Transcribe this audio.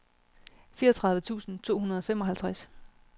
fireogtredive tusind to hundrede og femoghalvtreds